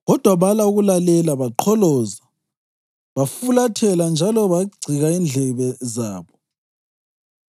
Kodwa bala ukulalela; baqholoza bafulathela njalo bagcika indlebe zabo.